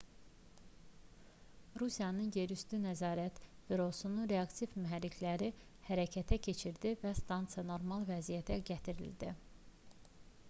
rusiyanın yerüstü nəzarət bürosu reaktiv mühərrikləri hərəkətə keçirdi və stansiya normal vəziyyətə gətirildi